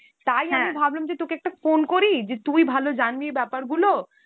তাই আমি ভাবলাম যে তোকে একটা phone করি, যে তুই ভালো জানবি এই ব্যাপারগুলো